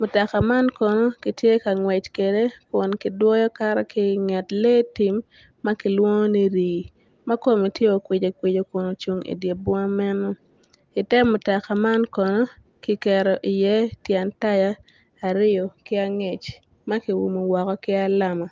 mutoka man kono kitye ka ngwec kwede kun kidwoyo kato ki inget lee tim ma kilwongo ni rii ma kome tye okwic okwico kun ocung idye bunga meno ite mutoka man kono kiketo iye tyen taya aryo ki angec ma kiumo woko ki alama.